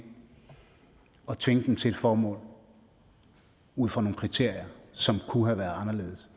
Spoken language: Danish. og tvinge dem til et formål ud fra nogle kriterier som kunne have været anderledes og